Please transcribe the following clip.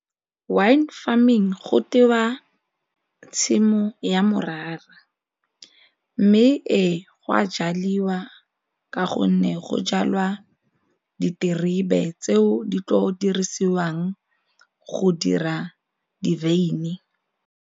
Wine farming go tewa tshimo ya morara mme ee go a jaliwa ka gonne go jalwa diterebe tseo di tlo dirisiwang go dira di-wyn.